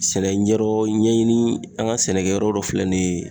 Sɛnɛ ɲɛdɔ ɲɛɲini an ka sɛnɛkɛ yɔrɔ dɔ filɛ nin ye